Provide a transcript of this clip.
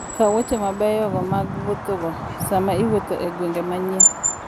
Kaw wuoche mabeyo mag wuothogo sama iwuotho e gwenge manyien.